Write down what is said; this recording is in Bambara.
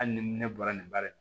Hali ni ne bɔra nin bari